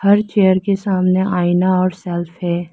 हर chair के सामने आईना और सेल्फ है।